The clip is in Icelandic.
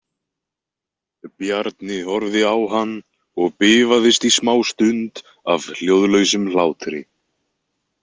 Bjarni horfði á hann og bifaðist í smástund af hljóðlausum hlátri.